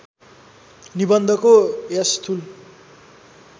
निबन्धको यस स्थूल